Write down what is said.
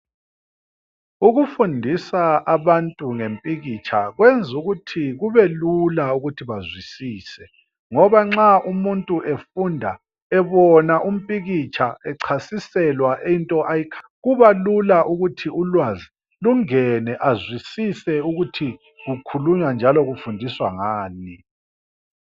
Ukufundisa abantu ngempikitsha kwenza ukuthi kubelula ukuthi bazwisise ngoba nxa umuntu efunda ebona umpikitsha echasiselwa into ayikhangeleyo kubalula ukuthi ulwazi lungene azwisise ukuthi kukhulunywa njalo kufundiswa ngani.